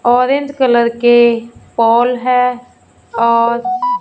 orange colour के pole है और--